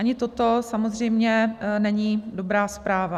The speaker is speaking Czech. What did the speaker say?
Ani toto samozřejmě není dobrá zpráva.